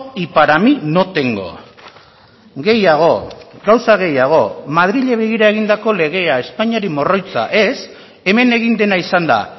y para mí no tengo gehiago gauza gehiago madrili begira egindako legea espainiari morroitza ez hemen egin dena izan da